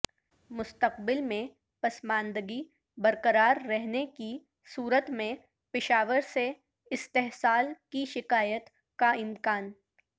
مستقبل میں پسماندگی برقرار رہنے کی صورت میں پشاور سے استحصال کی شکایت کا امکان